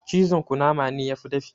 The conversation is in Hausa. Cizon kunama ne yafi dafi